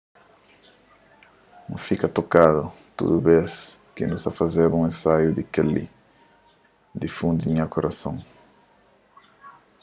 n fika tokadu tudu bês ki nu ta fazeba un ensaiu di kel-li di fundu di nha kurason